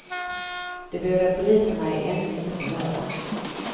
De båda poliserna är ännu inte förhörda.